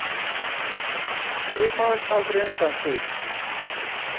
Ég baðst aldrei undan því.